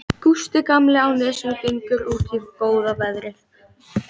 Gústi gamli á Nesi gengur út í góða veðrið.